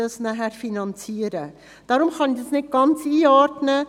Deshalb kann ich das nicht ganz einordnen.